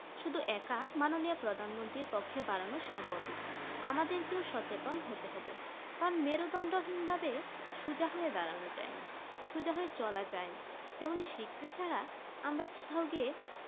শুধু একা মাননীয় প্রধানমন্ত্রী প্ক্ষে বাড়ানো সম্ভব নয় আমাদের কে সচেতন হতে হবে কারণ মেরুদন্ড হীন ভাবে সোজা হয়ে দাঁড়ানো যায় না সোজা হয়ে চলা যায় না তেমনি শিক্ষা ছাড়া আমরা কোথা গিয়ে